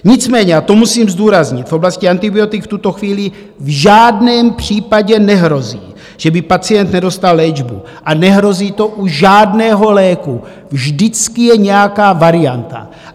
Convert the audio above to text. Nicméně, a to musím zdůraznit, v oblasti antibiotik v tuto chvíli v žádném případě nehrozí, že by pacient nedostal léčbu, a nehrozí to u žádného léku, vždycky je nějaká varianta.